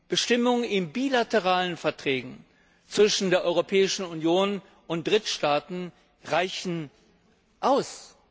Bestimmungen in bilateralen Verträgen zwischen der Europäischen Union und Drittstaaten reichen aus.